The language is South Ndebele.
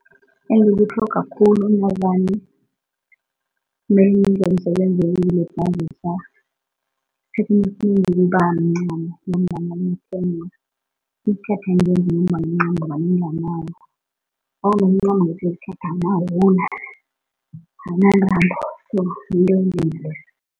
Engikutlhoga khulu navane ngenza umsebenzi wokuzilibazisa esikhathini esinengi kubamncamo ngombana ikuthatha njengombana umncamo vane nginganawo, omncamo awunawula, awunantambo